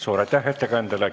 Suur aitäh ettekandjale!